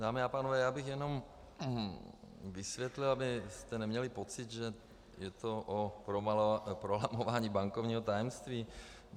Dámy a pánové, já bych jenom vysvětlil, abyste neměli pocit, že je to o prolamování bankovního tajemství.